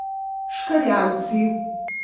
Škrjanci.